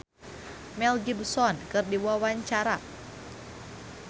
Once Mekel olohok ningali Mel Gibson keur diwawancara